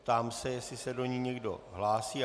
Ptám se, jestli se do ní někdo hlásí.